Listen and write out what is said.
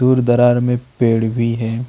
दूर दरार में पेड़ भी है।